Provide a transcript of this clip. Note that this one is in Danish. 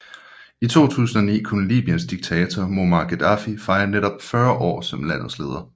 I 2009 kunne Libyens diktator Muammar Gaddafi fejre netop 40 år som landets leder